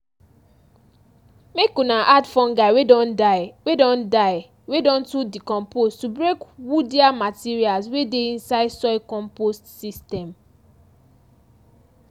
make una add fungi wey don die wey don die wey don too decompose to break woodier materials wey dey inside soil compost system.